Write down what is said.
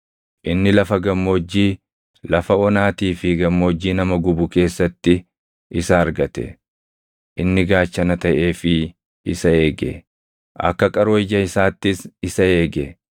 Inni lafa gammoojjii, lafa onaatii fi gammoojjii nama gubu keessatti isa argate. Inni gaachana taʼeefii isa eege; akka qaroo ija isaattis isa eege;